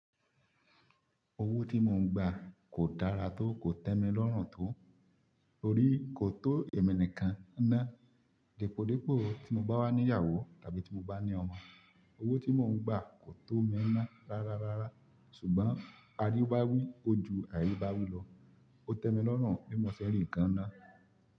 Owó tí mò ń gbà kò dára tó, kò tẹ́mi lọ́rùn tó, torí kò tó ẹ̀mí nìkan ná. Dípòdípò tí mò ń bá wá ní ìyàwó tàbí tí mò ń bá ní ọmọ, owó tí mò ń gbà kò tó mi ná rárárárá ṣùgbọ́n àríbá wí, ó ju àríbá wí lọ, ó tẹ́mi lọ́rùn bí mọ́ ṣẹ́ rí nǹkan ná.